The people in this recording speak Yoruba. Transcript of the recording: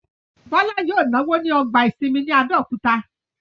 Bọ́lá yóò náwó ní ọgbà ìsinmi ní Abẹ́òkúta